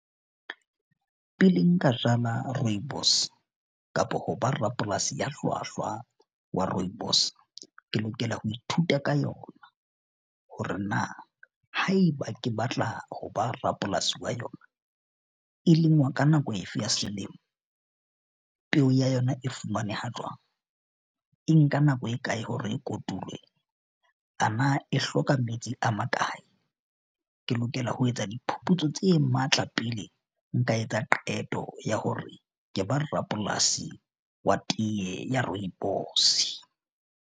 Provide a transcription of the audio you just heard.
Pele nka jala rooibos kapa ho ba rapolasi ya hlwahlwa wa rooibos, ke lokela ho ithuta ka yona hore na haeba ke batla ho ba rapolasi wa yona e lengwa ka nako efe ya selemo? Peo ya yona e fumaneha jwang? E nka nako e kae hore e kotulwe ana e hloka metsi a makae? Ke lokela ho etsa diphuputso tse matla pele nka etsa qeto ya hore ke ba rapolasi wa teye ya rooibos.